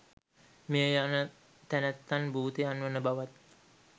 මියයන තැනැත්තන් භූතයන් වන බවත්